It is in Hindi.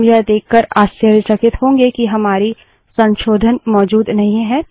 हम यह देककर आश्चर्यचकित होंगे कि हमारे संशोधन मौजूद नहीं हैं